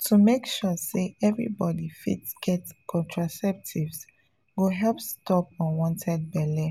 to make sure say everybody fit get contraceptives go help stop unwanted belle